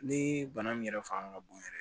Ni bana min yɛrɛ fanga ka bon yɛrɛ